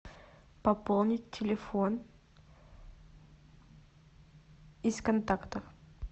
пополнить телефон из контактов